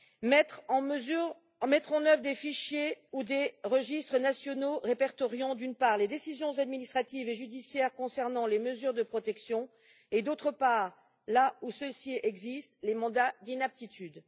mettre en œuvre des fichiers ou des registres nationaux répertoriant, d'une part, les décisions administratives et judiciaires concernant les mesures de protection et, d'autre part, là où ils existent, les mandats d'inaptitude